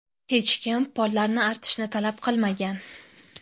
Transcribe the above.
Hech kim pollarni artishni talab qilmagan.